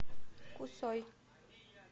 кусой